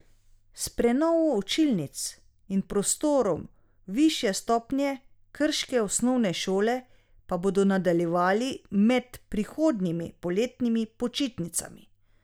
S prenovo učilnic in prostorov višje stopnje krške osnovne šole pa bodo nadaljevali med prihodnjimi poletnimi počitnicami.